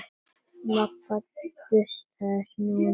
Magga dustaði snjóinn af Kötu.